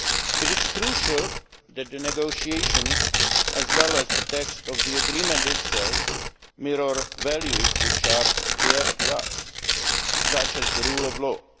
It is crucial that the negotiations, as well as the text of the agreement itself, mirror values which are dear to us, such as the rule of law.